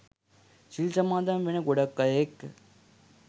සිල් සමාදන් වෙන ගොඩක් අය එක්ක